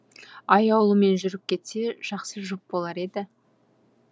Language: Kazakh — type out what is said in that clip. аяулыммен жүріп кетсе жақсы жұп болар еді